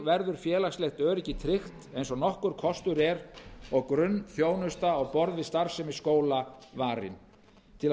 verður félagslegt öryggi tryggt eins og nokkur kostur er og grunnþjónusta á borð við starfsemi skóla varin til að